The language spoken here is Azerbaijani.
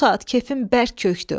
Bu saat kefim bərk kökdü.